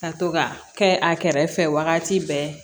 Ka to ka kɛ a kɛrɛfɛ wagati bɛɛ